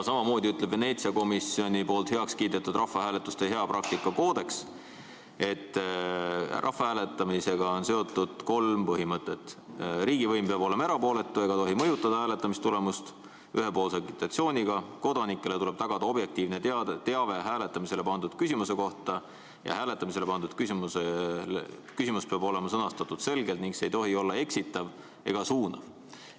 Samamoodi ütleb Veneetsia komisjonis heakskiidetud rahvahääletuste hea praktika koodeks, et rahvahääletusega on seotud kolm põhimõtet: riigivõim peab olema erapooletu ega tohi mõjutada hääletamistulemust ühepoolse agitatsiooniga, kodanikele tuleb tagada objektiivne teave hääletamisele pandud küsimuse kohta ja hääletamisele pandud küsimus peab olema sõnastatud selgelt ning see ei tohi olla eksitav ega suunav.